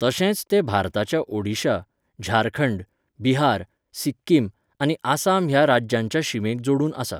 तशेंच तें भारताच्या ओडिशा, झारखंड, बिहार, सिक्किम, आनी आसाम ह्या राज्यांच्या शिमेक जोडून आसा.